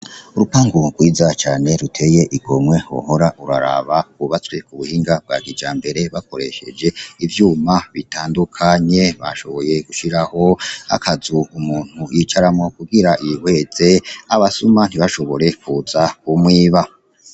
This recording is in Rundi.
Urupangu rwiza cane ruteye igomwe wohora uraraba, rwubatswe ku buhinga bwa kijambere bakoresheje ivyuma bitandukanye bashoboye gushiraho akazu umuntu yicaramo kugira yihweze abasuma ntibashobore kuza kumwiba.